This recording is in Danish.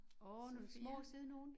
Åh sådan nogle små søde nogen